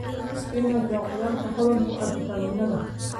Spinach waa khudrad hodan ku ah fiitamiinnada.